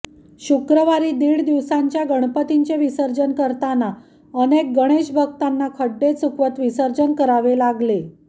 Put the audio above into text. शुक्रवारी दीड दिवसांच्या गणपतींचे विसर्जन करताना अनेक गणेशभक्तांना खड्डे चुकवत विसर्जन करावे लागले